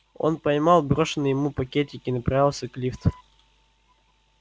он поймал брошенный ему пакетик и направился к лифту